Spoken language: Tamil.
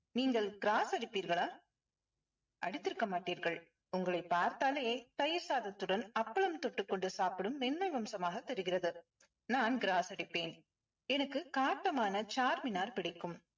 நீங்கள் gross அடிப்பீர்களா? அடித்திருக்க மாட்டீர்கள் உங்களைப் பார்த்தாலே தயிர் சாதத்துடன் அப்பளம் தொட்டுக்கொண்டு சாப்பிடும் மென்மை வம்சமாக தெரிகிறது. நான் gross அடிப்பேன். எனக்கு காட்டமான charminar பிடிக்கும்.